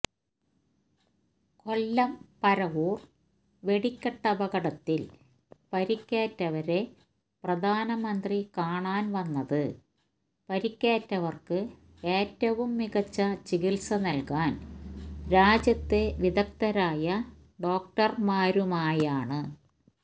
കൊല്ലം പരവൂര് വെടിക്കെട്ടപകടത്തില് പരിക്കേറ്റവരെ പ്രധാനമന്ത്രി കാണാന് വന്നത് പരിക്കേറ്റവര്ക്ക് ഏറ്റവും മികച്ച ചികിത്സ നല്കാന് രാജ്യത്തെ വിദഗ്ദ്ധരായ ഡോക്ടര്മാരുമായാണ്